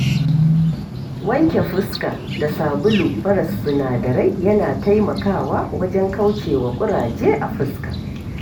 Wanke fuska da sabulu marar sinadarai yana taimakawa wajen kauce wa ƙuraje a fuska.